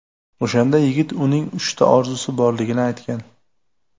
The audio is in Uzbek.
O‘shanda yigit uning uchta orzusi borligini aytgan.